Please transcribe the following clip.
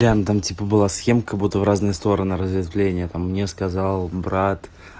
ян там типа была схема как будто в разные стороны разветвление там мне сказал брат